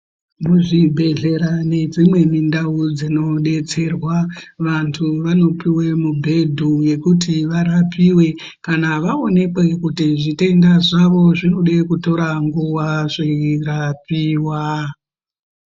Muzvibhehlera nedzimweni ndau dzinodetserwa vanhu vanopuwe mibhedhu yekuti varapiwe kana vaonekwe kuti zvitenda zvawo zvinoda kutore nguwa zveirapiwa.